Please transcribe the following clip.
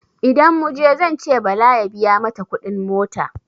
Idan muje zance Bala ya biya mata kudin mota.